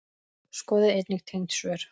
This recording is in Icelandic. Skoðið einnig tengd svör